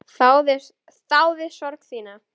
Þáði sorg þína.